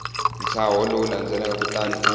ntshaho lowu landzelaka kutani u